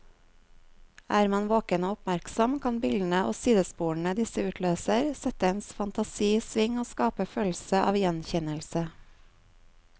Er man våken og oppmerksom, kan bildene og sidesporene disse utløser, sette ens fantasi i sving og skape følelse av gjenkjennelse.